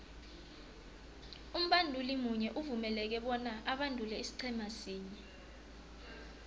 umbanduli munye uvumeleke bona abandule isiqhema sinye